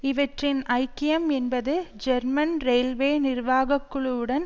இவற்றின் ஐக்கியம் என்பது ஜெர்மன் ரெயில்வே நிர்வாகக்குழுவுடன்